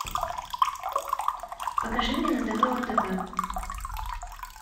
покажи мне на тв отп